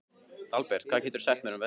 Dalbert, hvað geturðu sagt mér um veðrið?